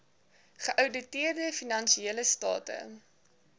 geouditeerde finansiële state